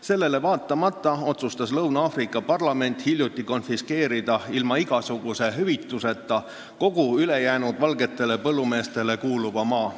Sellele vaatamata otsustas Lõuna-Aafrika Vabariigi parlament hiljuti konfiskeerida ilma igasuguse hüvituseta kogu ülejäänud valgetele põllumeestele kuuluva maa.